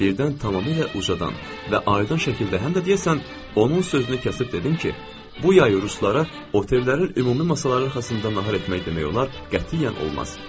Birdən tamamilə ucadan və aydın şəkildə həm də deyəsən onun sözünü kəsib dedim ki, bu yay ruslara otellərin ümumi masaları arxasında nahar etmək demək olar qətiyyən olmaz.